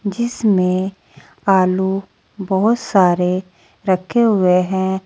जिसमें आलू बहुत सारे रखे हुए हैं।